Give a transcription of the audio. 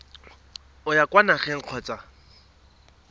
o ya kwa nageng kgotsa